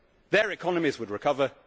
Their economies would recover